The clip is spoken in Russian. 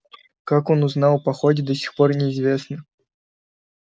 как он узнал о походе до сих пор неизвестно